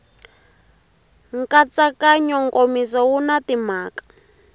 nkatsakanyo nkomiso wu na timhaka